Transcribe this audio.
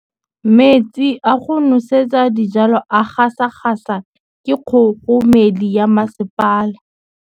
Metsi a go nosetsa dijalo a gasa gasa ke kgogomedi ya masepala.